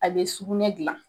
A be sugunɛ gilan